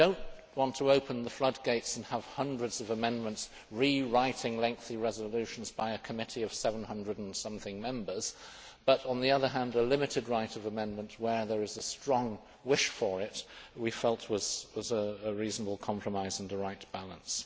We do not want to open the floodgates and have hundreds of amendments rewriting lengthy resolutions by a committee of 700 and something Members, but on the other hand a limited right of amendment where there is a strong wish for it, we felt, was a reasonable compromise and a right balance.